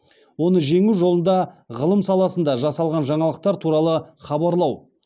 оны жеңу жолында ғылым саласында жасалған жаңалықтар туралы хабарлау